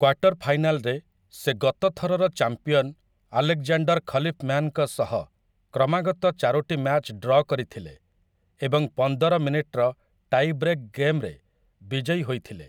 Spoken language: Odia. କ୍ୱାର୍ଟର୍‌ ଫାଇନାଲ୍‌ରେ ସେ ଗତ ଥରର ଚାମ୍ପିଅନ୍‌ ଆଲେକ୍‌ଜାଣ୍ଡର୍‌ ଖଲିଫ୍‌ମ୍ୟାନ୍‌ଙ୍କ ସହ କ୍ରମାଗତ ଚାରୋଟି ମ୍ୟାଚ୍ ଡ୍ର କରିଥିଲେ ଏବଂ ପନ୍ଦର ମିନିଟର ଟାଇବ୍ରେକ୍‌ ଗେମ୍‌ରେ ବିଜୟୀ ହୋଇଥିଲେ ।